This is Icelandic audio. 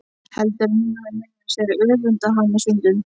Heldur að hún hafi meira að segja öfundað hana stundum.